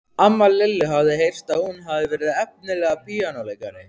Amma Lillu hafði heyrt að hún hefði verið efnilegur píanóleikari.